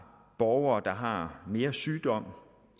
borgere der har mere sygdom